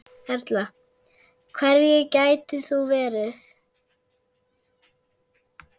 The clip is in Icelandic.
Erla: Hverjir gætu það verið?